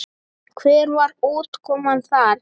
Hver var útkoman þar?